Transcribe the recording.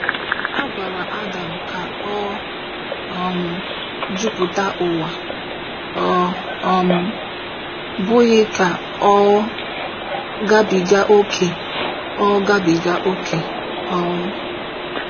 A gwara Adam ka ọ um “jupụta ụwa,” ọ um bụghị ka ọ gabiga ókè ọ gabiga ókè. um